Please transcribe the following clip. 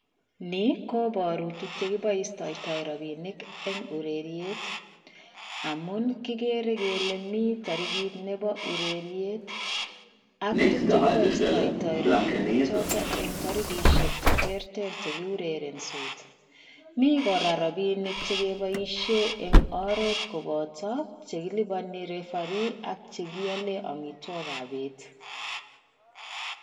Ni kobaru tuk che kiboistoitoi rabinik eng ureriet amun kigere gele mi tarigit nebo ureriet ak tuk che kiboustoitoi rapinik choto eng tarigisiek che terter che kiurerensot. Mi kora rapinik chekeboisien eng oret koboto che kilubani rifari ak chegialen amitwogikab bet.